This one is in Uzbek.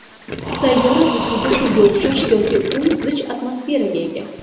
Sayyora zichligi suvga o‘xshash yoki u zich atmosferaga ega.